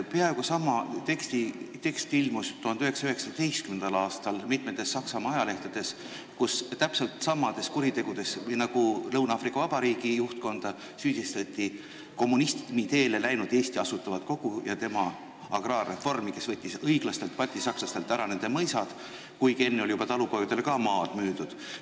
Peaaegu sama tekst ilmus 1919. aastal mitmetes Saksamaa ajalehtedes, kus täpselt samades kuritegudes nagu praegu Lõuna-Aafrika Vabariigi juhtkonda süüdistati kommunismi teele asunud Eesti Asutavat Kogu, kes agraarreformi käigus võttis õiglastelt baltisakslastelt ära nende mõisad, kuigi enne oli juba talupoegadele ka maad müüdud.